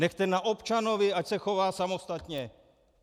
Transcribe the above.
Nechte na občanovi, ať se chová samostatně.